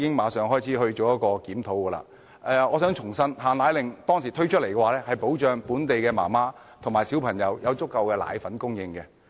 我想指出，當初推出"限奶令"的目的是保障本地母親和小孩有足夠的奶粉供應。